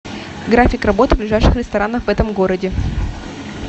график работы ближайших ресторанов в этом городе